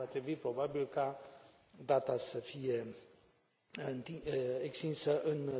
Va trebui, probabil, ca data să fie extinsă în